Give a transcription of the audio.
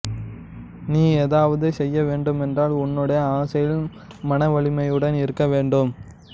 நீ ஏதாவது செய்யவேண்டும் என்றால் உன்னுடைய ஆசையில் மனவலிமையுடன் இருக்கவேண்டும்